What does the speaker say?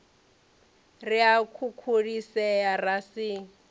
ri a khukhulisea ra si